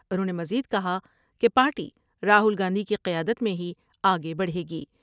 انھوں نے مزید کہا کہ پارٹی راہول گاندھی کی قیادت میں ہی آگے بڑھے گی ۔